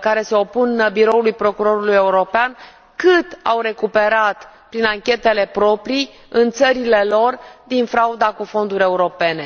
care se opun Biroului Procurorului European ce sume au recuperat prin anchetele proprii în țările lor din frauda cu fonduri europene?